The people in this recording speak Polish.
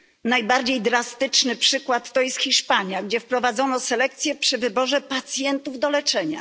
Najbardziej drastycznym przykładem jest Hiszpania, gdzie wprowadzono selekcję przy wyborze pacjentów do leczenia.